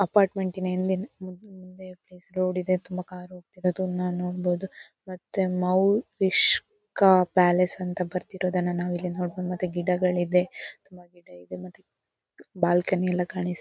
ಅಪಾರ್ಟ್ಮೆಂಟಿನ ಹಿಂದೆ ರೋಡಿದೆ ತುಂಬ ಕಾರು ಓಡ್ತಿರೋದನ್ನ ನೋಡ್ಬಹುದು ಮತ್ತೆ ಮೌರಿಷ್ಕ ಪ್ಯಾಲೇಸ್ ಅಂತ ಬರ್ದೆರಿದೋನ್ನ ನಾವು ಇಲ್ಲಿ ನೋಡ್ಬಹುದು ಮತ್ತೆ ಗಿಡಗಳಿದೆ ತುಂಬ ಗಿಡ ಇದೆ ಮತ್ತೆ ಬಾಲ್ಕನಿ ಎಲ್ಲ ಕಾಣಿಸ್--